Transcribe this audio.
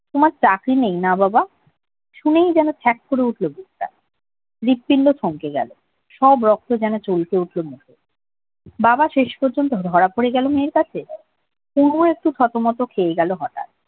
তোমার চাকরি নেই না বাবা শুনেয় যেন খ্যাত করে উঠলো বুকটা হৃদপিণ্ড থমকে গেল সব রক্ত যেন চমকে উঠলো বাবা শেষ পর্যন্ত ধরা পড়ে গেল মেয়ের কাছে! পুনু একটু থতমত খেয়ে গেল হঠাৎ